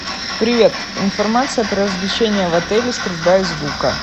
привет информация про развлечения в отеле стрельба из лука